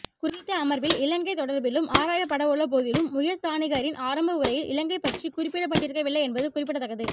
குறித்த அமர்வில் இலங்கை தொடர்பிலும் ஆராயப்படவுள்ள போதிலும் உயர்ஸ்தானிகரின் ஆரம்ப உரையில் இலங்கை பற்றிக் குறிப்பிடப்பட்டிருக்கவில்லை என்பது குறிப்பிடத்தக்கது